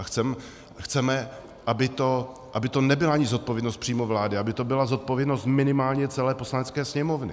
A chceme, aby to nebyla ani zodpovědnost přímo vlády, aby to byla zodpovědnost minimálně celé Poslanecké sněmovny.